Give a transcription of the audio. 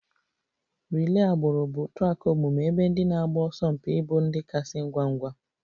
Relay agbụrụ bụ a track omume ebe ndị na-agba ọsọ mpi ịbụ ndị kasị ngwa ngwa